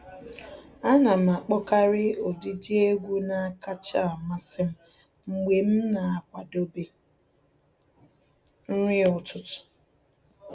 Ana m akpọkarị ụdịdị egwu na-akacha amasị m mgbe m na-akwadobe nri ụtụtụ